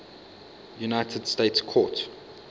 united states court